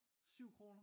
7 kroner?